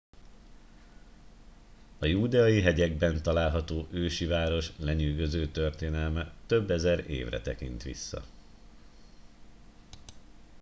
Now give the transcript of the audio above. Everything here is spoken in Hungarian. a júdeai hegyekben található ősi város lenyűgöző történelme több ezer évre tekint vissza